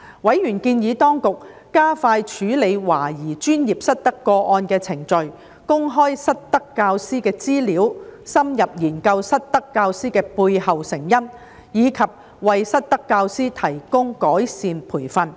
委員建議當局加快處理懷疑專業失德個案的程序、公開失德教師的資料、深入研究失德教師的背後成因，以及為失德教師提供改善培訓。